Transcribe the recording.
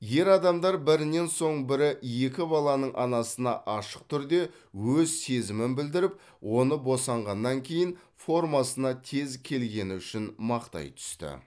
ер адамдар бірінен соң бірі екі баланың анасына ашық түрде өз сезімін білдіріп оны босанғаннан кейін формасына тез келгені үшін мақтай түсті